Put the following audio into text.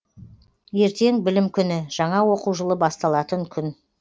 ертең білім күні жаңа оқу жылы басталатын күн